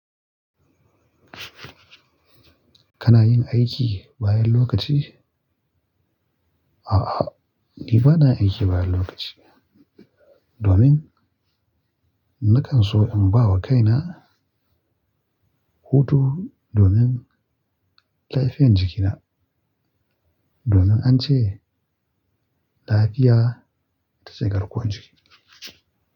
Kana yin aiki bayan lokaci? A'a ni ba na aiki bayan lokaci. Domin nakan so in ba wa kaina hutu domin lafiyan jiki na. Domin an ce lafiya ta zai garkuwa jiki.